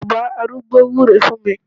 Bàbá arúgbó wúre fún mi